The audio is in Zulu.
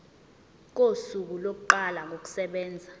kosuku lokuqala kokusebenza